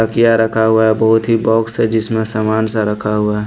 तकिया रखा हुआ है बहुत ही बॉक्स है जिसमें समान सा रखा हुआ हैं।